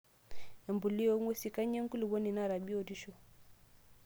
Empuliya ong'wesi:Kanyio enkulupuoni naata biotisho?